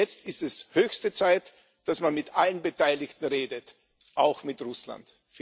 Jetzt ist es höchste Zeit, dass man mit allen Beteiligten redet, auch mit Russland.